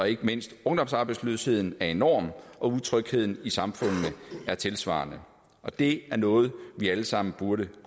ikke mindst ungdomsarbejdsløsheden er enorm utrygheden i samfundene er tilsvarende og det er noget vi alle sammen burde